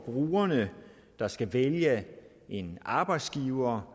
brugerne der skal vælge en arbejdsgiver